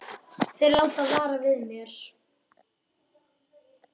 Þeir láta vara við mér.